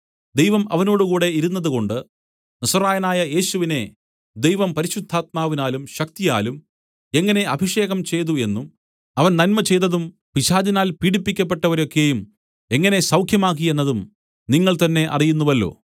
ദൈവം അവനോടുകൂടെ ഇരുന്നതുകൊണ്ട് നസറായനായ യേശുവിനെ ദൈവം പരിശുദ്ധാത്മാവിനാലും ശക്തിയാലും എങ്ങനെ അഭിഷേകം ചെയ്തതു എന്നും അവൻ നന്മചെയ്തതും പിശാചിനാൽ പീഢിപ്പിക്കപ്പെട്ടവരെ ഒക്കെയും എങ്ങനെ സൗഖ്യമാക്കി എന്നതും നിങ്ങൾതന്നെ അറിയുന്നുവല്ലോ